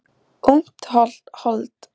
Ungt hold er hennar yndi og eftirlæti.